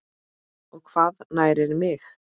og Hvað nærir mig?